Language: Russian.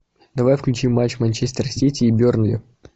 давай включи матч манчестер сити и бернли